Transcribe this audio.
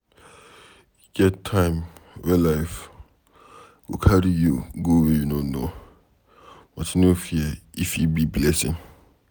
E get time wey life go carry you go where you no know, but no fear e fit be blessing